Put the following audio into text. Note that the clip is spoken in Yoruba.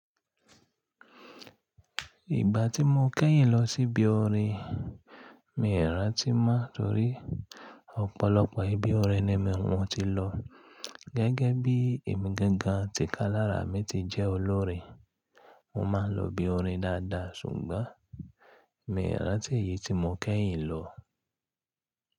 Ìgbà tí mo kẹ́yìn lọ sí bí òrìn, mi ò rántí mọ́ nítorí ọ̀pọ̀lọpọ̀ ibi òrìn ni mo tí lọ. Gẹ́gẹ́ bí emi gangan tìkálára mi ti jẹ́ olórin, mo máa ń lọ ibi orin dáadáa ṣùgbọ́n mi ò rántí èyí tí mo kẹ́yìn lọ.